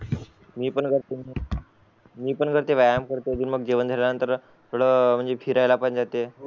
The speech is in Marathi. मी पण करते मी पण व्यायाम करते मग जेवण झाल्या नंन्तर थोड फिरायला जाते